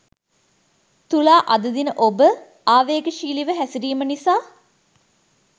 තුලා අද දින ඔබ ආවේගශීලීව හැසිරීම නිසා